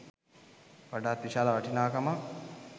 වඩාත් විශාල වටිනාකමක්